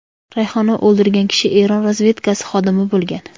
Rayhona o‘ldirgan kishi Eron razvedkasi xodimi bo‘lgan.